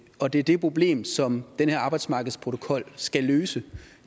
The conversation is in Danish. og det er det problem som den her arbejdsmarkedsprotokol skal løse